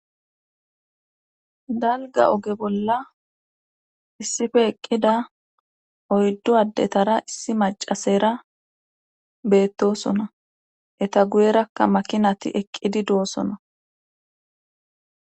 Dalga oge bolla issife eqqida oyddo addetara issi macasera beettosona eta guyerakka makinati eqqidi doossona.